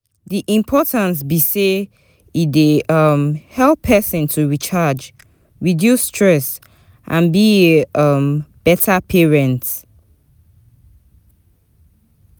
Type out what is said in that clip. di importance be say e dey um help pesin to recharge, reduce stress and be a um beta parent.